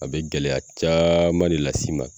A be gɛlɛya caaman de las'i ma